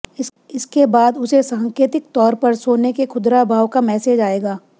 इसके बाद उसे सांकेतिक तौर पर सोने के खुदरा भाव का मेसेज आएगा